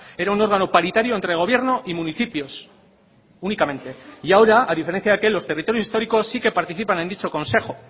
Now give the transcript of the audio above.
era un órgano paritario entre gobierno y municipios únicamente y ahora a diferencia de aquel los territorios históricos sí que participan en dicho consejo